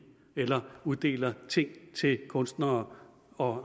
eller uddeler ting til kunstnere og